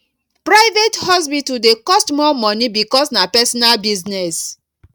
private hospital dey cost more money because na personal business